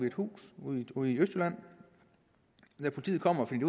et hus ude i østjylland da politiet kom fandt